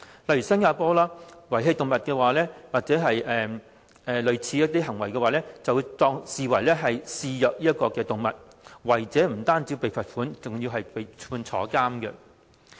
例如新加坡，遺棄動物或類似行為，都會視為虐待動物，違者不單被罰款，更會被判監禁。